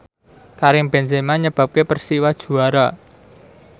Karim Benzema nyebabke Persiwa juara